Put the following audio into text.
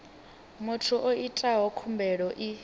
muthu o itaho khumbelo i